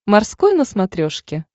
морской на смотрешке